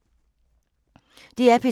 DR P2